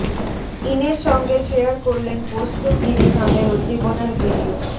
ইনের সঙ্গে শেয়ার করলেন পোস্ত ঘিরে তাঁদের উদ্দীপনার ভিডিও